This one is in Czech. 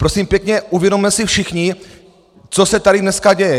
Prosím pěkně, uvědomme si všichni, co se tady dneska děje!